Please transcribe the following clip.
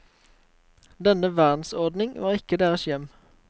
Denne verdensordning var ikke deres hjem.